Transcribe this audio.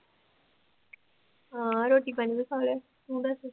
ਹਾਂ ਰੋਟੀ ਪਾਣੀ ਵੀ ਖਾ ਲਿਆ ਤੂੰ ਦੱਸ